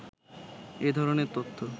এ ধরনের তথ্য